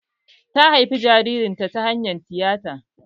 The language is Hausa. Ta haifi jaririn ta hanyar tiyata